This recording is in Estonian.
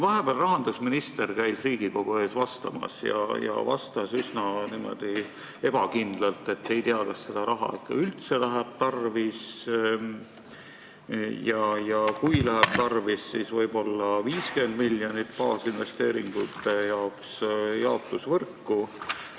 Vahepeal käis rahandusminister Riigikogu ees vastamas ja ta seletas üsna ebakindlalt, et ei tea, kas seda raha ikka üldse läheb tarvis, ja kui läheb tarvis, siis võib-olla 50 miljonit baasinvesteeringuteks jaotusvõrku.